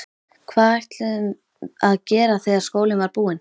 Hvað ætluðum að gera þegar skólinn var búinn?